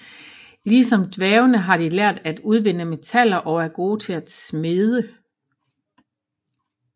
Ligesom dværgene har de lært at udvinde metaller og er gode til at smede